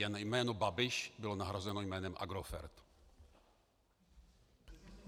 Jen jméno Babiš bylo nahrazeno jménem Agrofert.